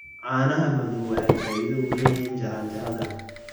Caanaha madow waxay faa'iido u leeyihiin jaranjarada.